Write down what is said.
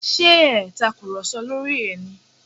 Ṣé ẹ ò tàkùrọ̀sọ lórí ẹ̀ ni?